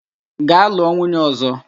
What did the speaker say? Gaa lụọ nwunye ọ̀zọ́!